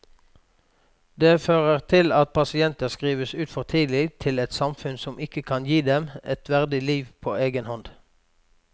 Det fører til at pasienter skrives ut for tidlig til et samfunn som ikke kan gi dem et verdig liv på egen hånd.